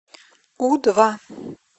у два